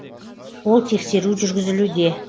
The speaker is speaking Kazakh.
ол тексеру жүргізілуде